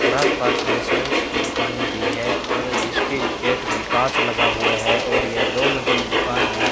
और आसपास में सेल्स की दुकानें भी है और इसके गेट में कांच लगा हुआ है और यह दो मंजिली दुकान है।